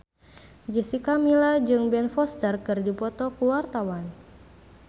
Jessica Milla jeung Ben Foster keur dipoto ku wartawan